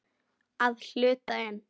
Að hluta til.